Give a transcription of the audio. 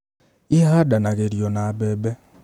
Ihandanagĩrio na mbembe